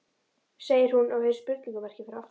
segir hún, og hefur spurningarmerki fyrir aftan.